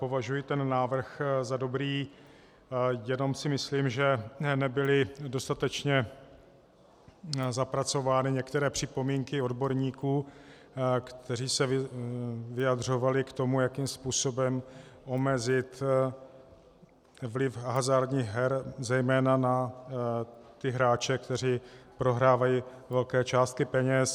Považuji ten návrh za dobrý, jenom si myslím, že nebyly dostatečně zapracovány některé připomínky odborníků, kteří se vyjadřovali k tomu, jakým způsobem omezit vliv hazardních her zejména na ty hráče, kteří prohrávají velké částky peněz.